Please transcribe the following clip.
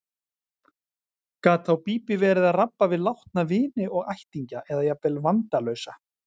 Gat þá Bíbí verið að rabba við látna vini og ættingja eða jafnvel vandalausa.